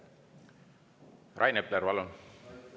Rain Epler, palun!